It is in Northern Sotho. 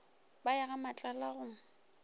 ba ye ga matlala go